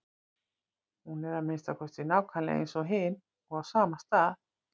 Hún er að minnsta kosti nákvæmlega eins og hin og á sama stað.